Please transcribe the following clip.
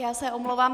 Já se omlouvám.